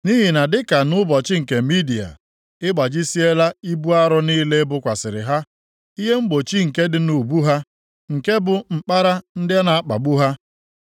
Nʼihi na dịka nʼụbọchị nke Midia, i gbajisiela ibu arọ niile e bokwasịrị ha, ihe mgbochi nke dị nʼubu ha, nke bụ mkpara ndị na-akpagbu ha.